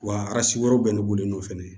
Wa aransi wɛrɛw bɛ ne bɔlen do fɛnɛ